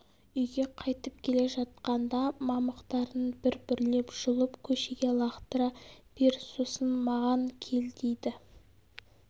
үйге қайтып келе жатқанда мамықтарын бір бірлеп жұлып көшеге лақтыра бер сосын маған кел дейді